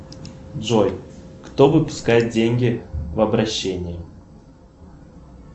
джой кто выпускает деньги в обращение